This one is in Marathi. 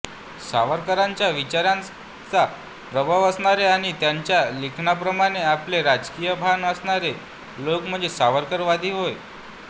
सावरकरांच्या विचारांचा प्रभाव असणारे आणि त्यांच्या लिखाणाप्रमाणे आपले राजकीय भान असणारे लोक म्हणजे सावरकवादी होय